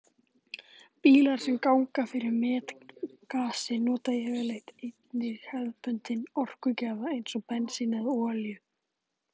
Bílar sem ganga fyrir metangasi nota yfirleitt einnig hefðbundinn orkugjafa eins og bensín eða olíu.